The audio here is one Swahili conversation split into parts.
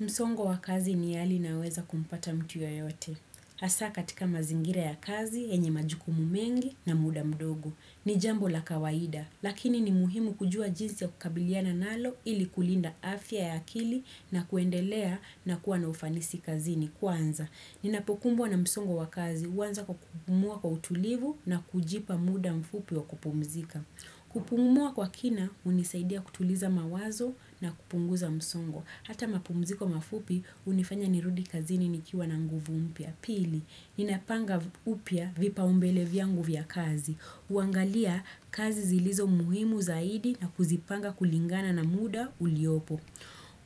Msongo wakazi ni hali inayoweza kumpata mtu yeyote. Hasa katika mazingira ya kazi, yenye majukumu mengi na muda mdogo. Ni jambo la kawaida, lakini ni muhimu kujua jinsi ya kukabiliana nalo, ili kulinda afya ya akili na kuendelea na kuwa na ufanisi kazini kwanza. Ninapokumbwa na msongo wa kazi, huanza kwa kupumua kwa utulivu na kujipa muda mfupi wa kupumzika. Kupumua kwa kina, hunisaidia kutuliza mawazo na kupunguza msongo. Hata mapumziko mafupi hunifanya nirudi kazini nikiwa na nguvu mpya. Pili, ninapanga upya vipau mbele vyangu vya kazi. Huangalia kazi zilizo muhimu zaidi na kuzipanga kulingana na muda uliopo.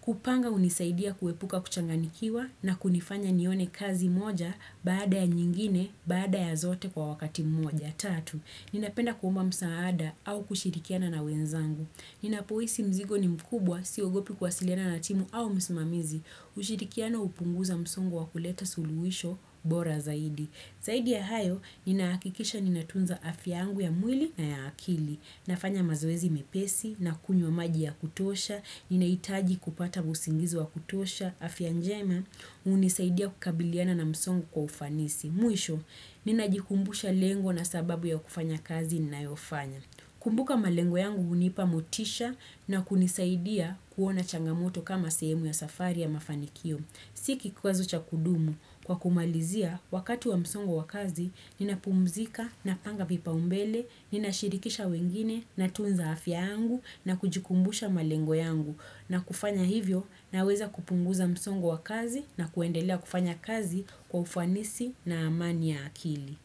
Kupanga hunisaidia kuepuka kuchanganikiwa na kunifanya nione kazi moja baada ya nyingine baada ya zote kwa wakati mmoja. Tatu, ninapenda kuomba msaada au kushirikiana na wenzangu. Ninapohisi mzigo ni mkubwa, siogopi kwasiliana na timu au msimamizi, ushirikiano hupunguza msongu wa kuleta suluhisho, bora zaidi. Zaidi ya hayo, ninaakikisha ninatunza afyangu ya mwili na ya akili, nafanya mazoezi mepesi, na kunywa maji ya kutosha, ninahitaji kupata usingizi wa kutosha, afya njema, hunisaidia kukabiliana na msongo kwa ufanisi. Mwisho, ninajikumbusha lengo na sababu ya kufanya kazi ni nayofanya. Kumbuka malengo yangu hunipa motisha na kunisaidia kuona changamoto kama sehemu ya safari ya mafanikio. Sio kikwazo cha kudumu, kwa kumalizia, wakati wa msongo wa kazi, nina pumzika, napanga vipaumbele, nina shirikisha wengine, natunza afyangu na kujikumbusha malengo yangu. Na kufanya hivyo na weza kupunguza msongo wa kazi na kuendelea kufanya kazi kwa ufanisi na amani ya akili.